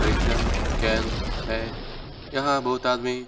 परीक्षण केंद्र है। यहाँ बहुत आदमी --